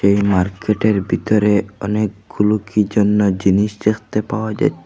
এই মার্কেটের বিতরে অনেকগুলো কি জন্য জিনিস জেখতে পাওয়া যাচ্ছে।